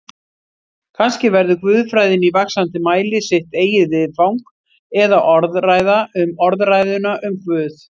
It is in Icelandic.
Kannski verður guðfræðin í vaxandi mæli sitt eigið viðfang eða orðræða um orðræðuna um Guð.